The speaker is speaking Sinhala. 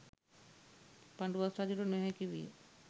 පඬුවස් රජුට නොහැකි විය.